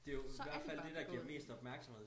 Så er det bare begået